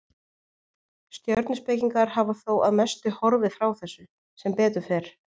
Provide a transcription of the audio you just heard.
Stjörnuspekingar hafa þó að mestu horfið frá þessu, sem betur fer.